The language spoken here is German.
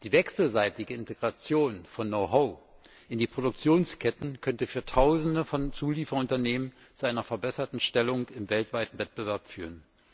Die wechselseitige Integration von Know how in die Produktionsketten könnte für Tausende von Zulieferunternehmen zu einer verbesserten Stellung im weltweiten Wettbewerb führen.